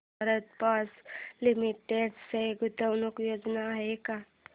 Bharat forge limited च्या गुंतवणूक योजना आहेत का